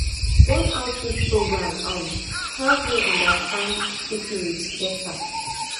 one outreach program um help me understand syphilis better